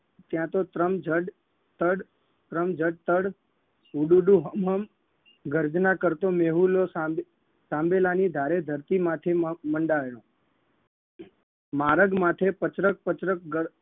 ત્યાં તો ત્રમ જડ તડ ત્રમ જડ તડ ડૂંડુંહમમ ગર્જના કરતો મેહુલો સાંબેલા સાંબેલાની ધારે ધરતી માથે મંડ મંડાયો મારગ માથે પચરક પચરક ગર